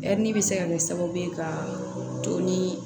bɛ se ka kɛ sababu ye ka to ni